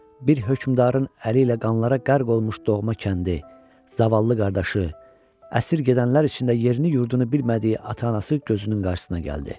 Bir hökmdarın əli ilə qanlara qərq olmuş doğma kəndi, zavallı qardaşı, əsir gedənlər içində yerini yurdunu bilmədiyi ata-anası gözünün qarşısına gəldi.